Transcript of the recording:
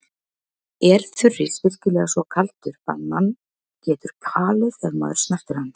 Er þurrís virkilega svo kaldur að mann getur kalið ef maður snertir hann?